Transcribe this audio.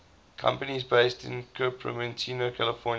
companies based in cupertino california